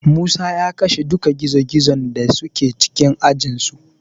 Musa ya kashe duka gizogizon da suke cikin ajinsu.